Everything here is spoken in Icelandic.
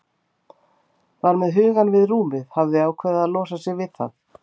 Var með hugann við rúmið, hafði ákveðið að losa sig við það.